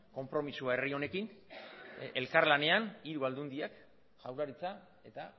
konpromisoa herri honekin elkarlanean hiru aldundiak jaurlaritza eta